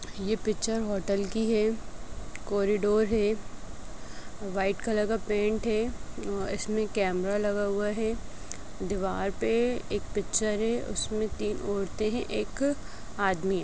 ये picture hotel की है। कॉरिडोर है। वाईट कलर का पेन्ट है और इसमें कैमरा लगा हुआ है। दीवार पे एक पिच्चर है उसमें तीन औरतें हैं एक आदमी --